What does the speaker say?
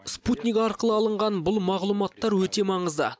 спутник арқылы алынған бұл мағұлматтар өте маңызды